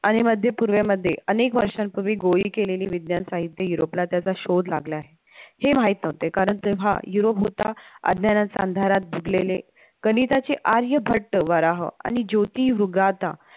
आणि मध्य पूर्वे मध्ये अनेक वर्षांपूर्वी केलेली विज्ञान साहित्य युरोपला त्याचा शोध लागला आहे, हे माहित नव्हते कारण तेव्हा युरोप होता अज्ञानाच्या अंधारात डुबलेले, गणिताचे आर्यभट्ट, वराह, आणि ज्योतीवृगाथा